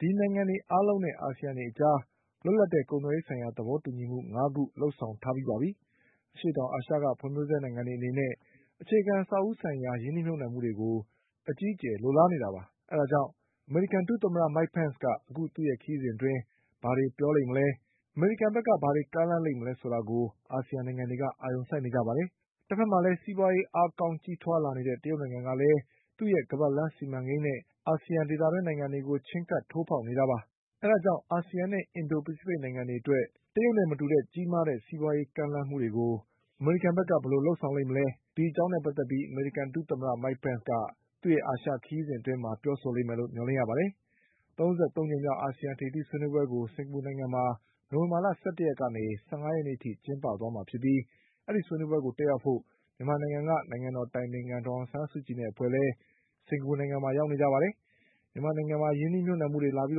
ဒီနိုင်ငံတွေအားလုံးနဲ့အာစီယံအကြား လွတ်လပ်တဲ့ကုန်သွယ်ရေးသဘောတူညီမှု ငါးခုလုပ်ဆောင်ထား ပြီးပါပြီ။ အရှေ့တောင်အာရှကဖွင့်ဖြိုးဆဲနိုင်ငံတွေအနေနဲ့ အခြေခံအဆောက်အဦးဆိုင်ရာ ရင်းနှီးမြုပ်နှံမှုတွေကို အကြီး အကျယ်လိုလားနေတာပါ။ အဲဒါကြောင့် အမေရိကန်ဒုသမ္မတ Mike Pence က အခုခရီးစဉ်အတွင်း ဘာတွေပြောမလဲ ၊ အမေရိကန်ဘက်က ဘာတွေကမ်းလှမ်းလိမ့်မလဲ ဆိုတာကို အာဆီယံနိုင်ငံတွေကအာရုံစိုက်နေကြပါတယ်။ တဘက်မှာ ကလည်း စီးပွါးရေးအားကောင်းကြီးထွားလာနေတဲ့ တရုတ်နိုင်ငံကလည်း သူ့ရဲ့ ခါးပတ်လမ်းစီမံကိန်းနဲ့ အာဆီယံဒေသ အတွင်းကို ချဉ်းကပ်ထိုးဖေါက်နေတာပါ။ အဲဒါကြောင့် အာဆီယံနဲ့အင်ဒို ဖိစ ဖိတ်နိုင်ငံတွေအတွက် တရုတ်နဲ့မတူတဲ့ကြီး မားတဲ့စီးပွါးရေးကမ်းလှမ်းမှုတွေကို အမေရိကန်ဘက်က ဘယ်လိုလုပ်ဆောင်လိမ့်မယ်။ ဒီအကြောင်းနဲ့ပတ်သက်ပြီး အမေ ရိကန်ဒုသမ္မတ Mike Pence ရဲ့ အာရှခရီးစဉ်အတွင်းပြောဆိုလိမ့်မယ်လို့မျှော်လင့်ရပါတယ်။ ၃၃ကြိမ်မြောက်အာဆီယံထိပ်သီးဆွေးနွေးပွဲကို စင်္ကာပူနိုင်ငံမှာ နိုဝင်ဘာလ၁၁ရက်ကနေ ၁၅ရက်နေ့အထိကျင်းပသွားမှာ ဖြစ်ပြီး အဲဒီဆွေးနွေးပွဲကိုတက်ရောက်ဖို့ မြန်မာနိုင်ငံက နိုင်ငံတော်အတိုင်ပင်ခံဒေါ်အောင်ဆန်းစုကြည်နဲ့အဖွဲ့လည်း စင်္ကာ ပူနိုင်ငံမှာရောက်နေကြပါတယ်။ မြန်မာနိုင်ငံမှာရင်းနှီးမြုပ်နှံမှုတွေလာပြီး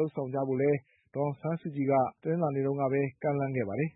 လုပ်ဆောင်ကြဖို့လည်း ဒေါ်အောင်ဆန်းစုကြည်က တနင်္လာနေ့က ကမ်းလှမ်းခဲ့ပါတယ်။